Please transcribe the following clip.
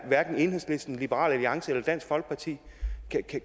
enhedslisten liberal alliance eller dansk folkeparti